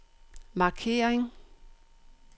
markering